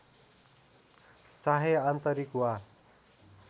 चाहे आन्तरिक वा